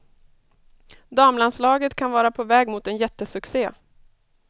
Damlandslaget kan vara på väg mot en jättesuccé.